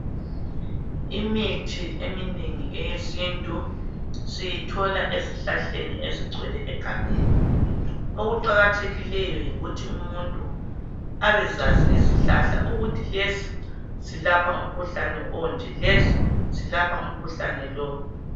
Imithi eminengi eyesintu siyithola ezihlahleni ezigcwele egangeni okuqakathekileyo yikuthi umuntu abezazi izihlahla ukuthi lesi silapha omkhuhlane onje lesi silapha umkhuhlane lo